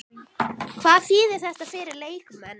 Hvað þýðir þetta fyrir leikmenn?